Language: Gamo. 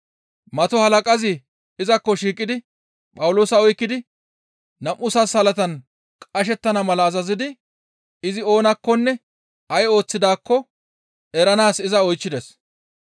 Mato halaqazi izakko shiiqidi Phawuloosa oykkidi nam7u sansalatan qashettana mala azazidi izi oonakkonne ay ooththidaakko eranaas iza oychchides.